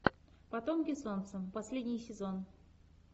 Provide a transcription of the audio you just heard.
потомки солнца последний сезон